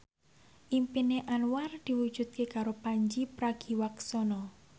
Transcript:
impine Anwar diwujudke karo Pandji Pragiwaksono